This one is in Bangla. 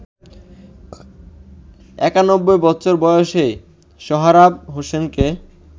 ৯১ বছর বয়সী সোহরাব হোসেনকে